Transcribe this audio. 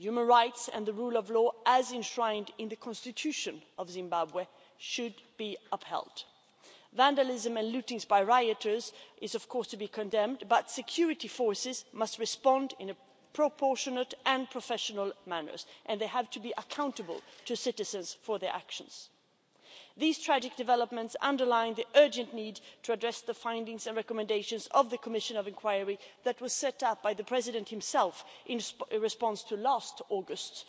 Human rights and the rule of law, as enshrined in the constitution of Zimbabwe, should be upheld. Vandalism and lootings by rioters is of course to be condemned but security forces must respond in a proportionate and professional manner and they have to be accountable to citizens for their actions. These tragic developments underline the urgent need to address the findings and recommendations of the commission of inquiry that was set up by the President himself in response to last August's